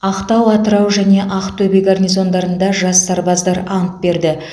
ақтау атырау және ақтөбе гарнизондарында жас сарбаздар ант берді